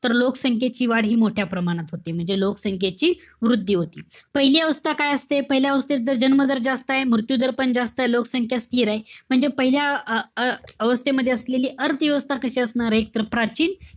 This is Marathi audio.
तर लोकसंख्येची वाढ हि मोठ्या प्रमाणात होते. म्हणजे लोकसंख्येची वृद्धी होते. पहिली अवस्था काय असते? पहिल्या अवस्थेत जन्म दर जास्तय. मृत्यू दर पण जास्तय. लोकसंख्या स्थिर ए. म्हणजे पहिल्या अं अवस्थेमध्ये असलेली अर्थव्यवस्था कशी असणारे? तर, प्राचीन,